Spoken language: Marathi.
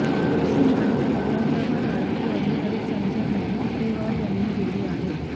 अशी माहिती औरंगाबाद आरटीओ अधिकारी संजय मेहेत्रेवार यांनी दिली आहे